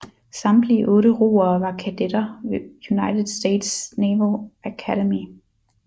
Samtlige otte roere var kadetter ved United States Naval Academy